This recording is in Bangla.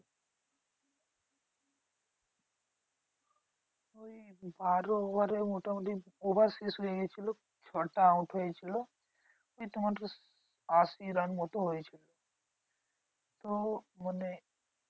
বারো over এ মোটামুটি over শেষ হয়েগেছিলো ছটা out হয়েছিল। এই তোমাদের আশি run মতো হয়েছিল। তো মানে